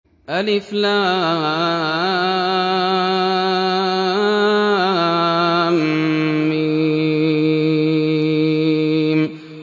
الم